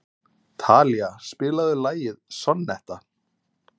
Talía, spilaðu lagið „Sonnetta“.